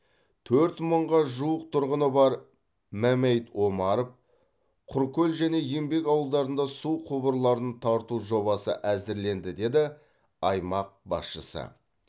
төрт мыңға жуық тұрғыны бар мәмәйіт омаров құркөл және еңбек ауылдарында су құбырларын тарту жобасы әзірленді деді аймақ басшысы